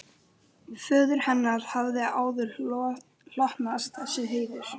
Föður hennar hafði áður hlotnast þessi heiður.